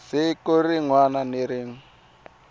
siku rin wana na rin